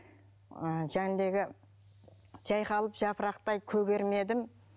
ы және дегі жайқалып жапырақтай көгермедім